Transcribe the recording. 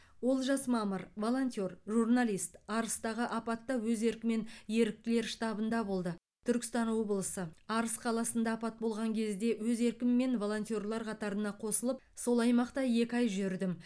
олжас мамыр волонтер журналист арыстағы апатта өз еркімен еріктілер штабында болды түркістан облысы арыс қаласында апат болған кезде өз еркіммен волонтерлар қатарына қосылып сол аймақта екі ай жүрдім